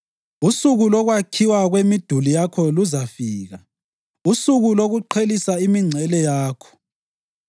Usuku lokwakhiwa kwemiduli yakho luzafika, usuku lokuqhelisa imingcele yakho.